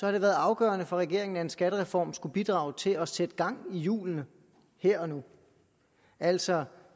har det været afgørende for regeringen at en skattereform skulle bidrage til at sætte gang i hjulene her og nu altså